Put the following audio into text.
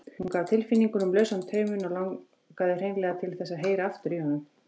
Hún gaf tilfinningunum lausan tauminn og langaði hreinlega til þess að heyra aftur í honum.